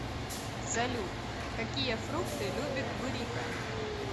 салют какие фрукты любит бурико